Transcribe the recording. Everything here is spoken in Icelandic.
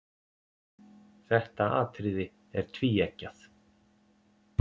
Þetta atriði er tvíeggjað.